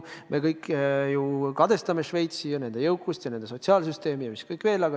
Me kõik ju kadestame Šveitsi, selle riigi jõukust ja sotsiaalsüsteemi ja mida kõike veel.